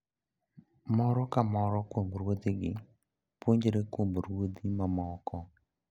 Moro ka moro kuom ruodhigi puonjore kuom ruodhi mamoko.